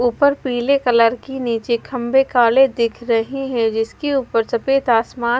ऊपर पीले कलर की नीचे खंभे काले दिख रहे हैं जिसके ऊपर सफेद आसमान--